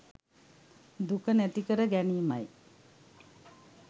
දුක නැති කර ගැනීමයි.